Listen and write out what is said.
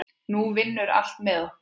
Nú vinnur allt með okkur.